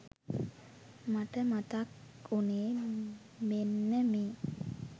මට මතක් වුනේ මෙන්න මේ